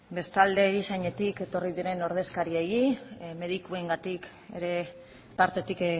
bestalde erizainen aldetik etorri diren ordezkariei medikuen partetik